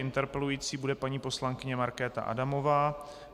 Interpelující bude paní poslankyně Markéta Adamová.